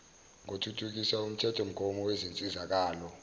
ngothuthukisa umthethomgomo wezinsizakalo